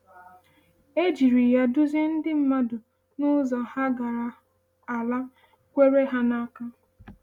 A jiri ya duzie ndị mmadụ n’ụzọ ha gara Ala a kwere ha n’aka.